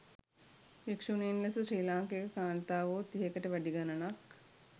භික්ෂුණීන් ලෙස ශ්‍රී ලාංකික කාන්තාවෝ තිහකට වැඩි ගණනක්